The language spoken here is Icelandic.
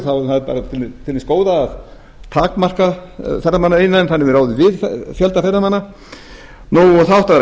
þá er það bara til hins góða að takmarka ferðamannaiðnaðinn þannig að við ráðum við fjölda ferðamanna það áttu að vera